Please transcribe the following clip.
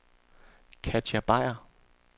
Katja Beyer